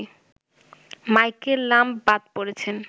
Michael Lumb বাদ পড়েছেন